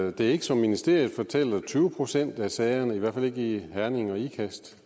at det ikke som ministeriet fortæller er tyve procent af sagerne i hvert fald ikke i herning og ikast